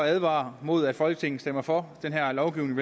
advare imod at folketinget stemmer for den her lovgivning